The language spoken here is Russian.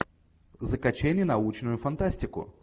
закачай ненаучную фантастику